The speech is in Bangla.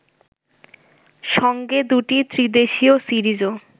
সঙ্গে দুটি ত্রিদেশিয় সিরিজও